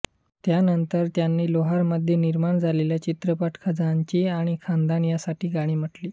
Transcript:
त्या नंतर त्यांनी लाहोरमध्ये निर्माण झालेले चित्रपट खजांची आणि खानदान यांसाठी गाणी म्हटली